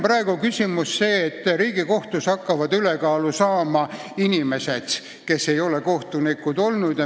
Praegu on küsimus see, et Riigikohtus hakkavad ülekaalu saama inimesed, kes ei ole kohtunikud olnud.